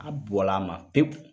A bɔla a ma pewu.